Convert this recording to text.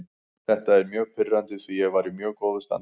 Þetta er mjög pirrandi því ég var í mjög góðu standi.